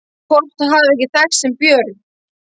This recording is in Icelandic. Hvort þau hafi ekki þekkst sem börn?